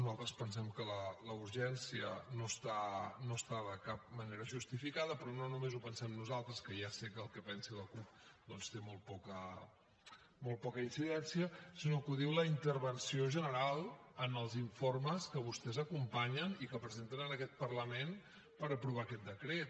nosaltres pensem que la urgència no està de cap manera justificada però no només ho pensem nosaltres que ja sé que el que pensi la cup doncs té molt poca incidència sinó que ho diu la intervenció general en els informes que vostès acompanyen i que presenten en aquest parlament per aprovar aquest decret